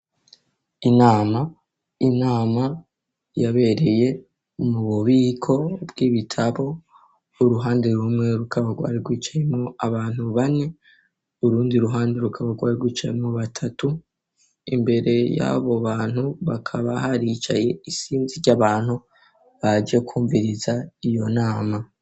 Inama inama yabereye mu bubiko bw'ibitabo uruhande rumwe rukaba rwari rwicayemwo abantu bane urundi ruhande rukabarwari rwicayemwo batatu imbere y'abo bantu bakaba haricaye isinzi ry'abantu baje kumviriza iyo nama.